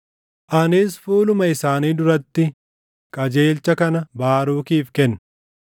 “Anis fuuluma isaanii duratti qajeelcha kana Baarukiif kenne;